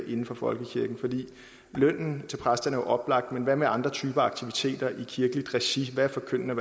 inden for folkekirken lønnen til præsterne oplagt men hvad med andre typer af aktiviteter i kirkeligt regi hvad er forkyndende